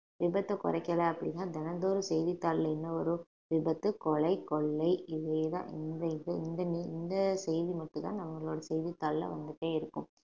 விபத்தை குறைக்கல அப்படின்னா தினந்தோறும் செய்தித்தாள்ல இன்னும் ஒரு விபத்து கொலை கொள்ளை இதே தான் இந்த இது இந்த ne~ இந்த செய்தி மட்டும்தான் நம்மளோட செய்தித்தாள்ல வந்துட்டே இருக்கும்